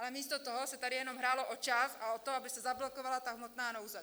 Ale místo toho se tady jenom hrálo o čas a o to, aby se zablokovala ta hmotná nouze!